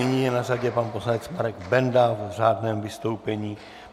Nyní je na řadě pan poslanec Marek Benda v řádném vystoupení.